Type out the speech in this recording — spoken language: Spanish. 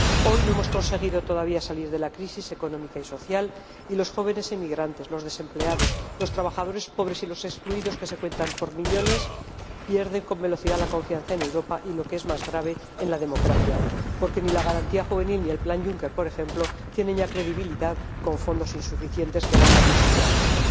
Hoy no hemos conseguido todavía salir de la crisis económica y social, y los jóvenes emigrantes, los desempleados, los trabajadores pobres y los excluidos, que se cuentan por millones, pierden con velocidad la confianza en Europa y, lo que es más grave, en la democracia, porque ni la Garantía Juvenil ni el Plan Juncker, por ejemplo, tienen ya credibilidad, con fondos insuficientes que bailan de un sitio a otro.